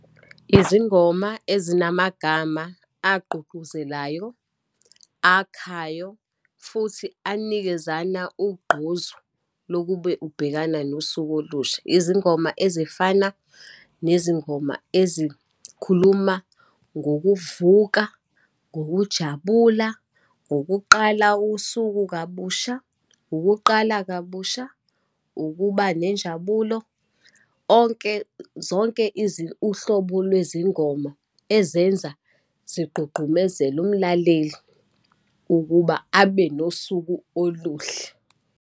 Izingoma ezinamagama agqugquzelayo, akhayo, futhi anikezana ugqozu lokube ubhekana nosuku olusha. Izingoma ezifana nezingoma ezikhuluma ngokuvuka, ngokujabula, ngokuqala usuku kabusha, ukuqala kabusha, ukuba nenjabulo onke, zonke uhlobo lwezingoma ezenza zigqugqumezele umlaleli ukuba abe nosuku oluhle.